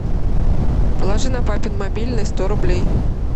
положи на папин мобильный сто рублей